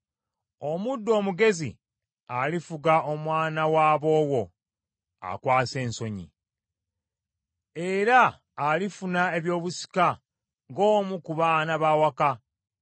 Omuddu omugezi alifuga omwana wa bowo akwasa ensonyi, era alifuna ebyobusika ng’omu ku baana b’awaka.